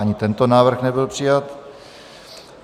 Ani tento návrh nebyl přijat.